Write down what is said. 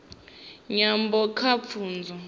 nyambo kha pfunzo